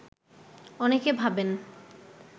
অনেকে ভাবেন